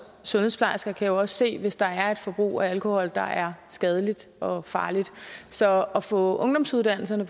sundhedsplejersker kan jo også se hvis der er et forbrug af alkohol der er skadeligt og farligt så at få ungdomsuddannelserne